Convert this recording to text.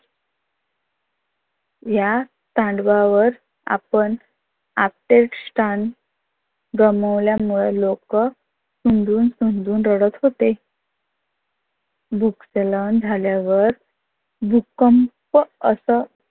या तांडवावर आपण आपले स्थान गमावल्यामूळ लोक स्फुंदून स्फुंदून रडत होते. भूस्थलन झाल्या वर भूकंप अस